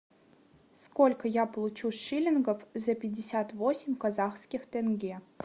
сколько я получу шиллингов за пятьдесят восемь казахских тенге